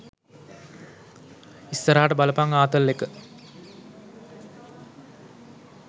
ඉස්සරහට බලපං ආතල් එක.